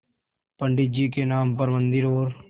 पंडित जी के नाम पर मन्दिर और